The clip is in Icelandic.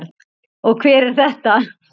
Og hver er þetta?